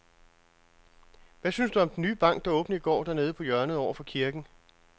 Hvad synes du om den nye bank, der åbnede i går dernede på hjørnet over for kirken?